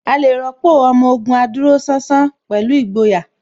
A lè rọ́pò Ọmọ Ògùn adúróṣánṣán pẹ̀lú ìgboyà